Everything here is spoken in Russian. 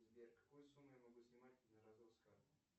сбер какую сумму я могу снимать единоразово с карты